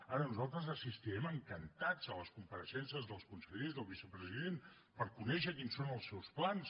ara nosaltres assistirem encantats a les compareixences dels consellers del vicepresident per conèixer quins són els seus plans